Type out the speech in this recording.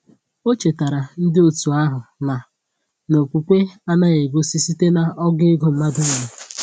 Ọ chetaara ndi otu ahụ na na okwukwe anaghị egosi site n’ogo ego mmadụ nyere.